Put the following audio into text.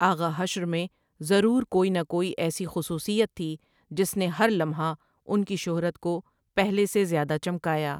آغا حشر میں ضرور کوئی نہ کوئی ایسی خصوصیت تھی جس نے ہر لمحہ اُن کی شہرت کو پہلے سے زیادہ چمکایا۔